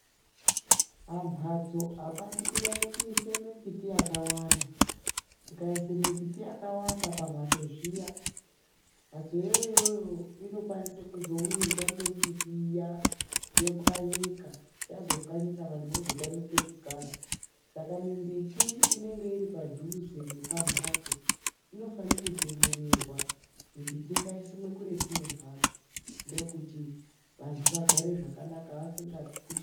Pamhatso apadi kunyanya kuisa mimbuti yakawanda. Ukaise mimbuti yakawanda pambatso zviya, Mbatso iyoyo inokwanisa kuzowirwa ngemimbiti iya, yopwanyika. Yazopwanyika vantu vozotama pekugara. Saka mimbuti inenge iri padhuze nepamhatso inofanira kutemererwa. Mimbiti ngaisimwe kuretu nembatso ndokuti vantu vagare zvakanaka vasingatyi.